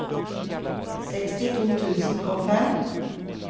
sekstito tusen og fem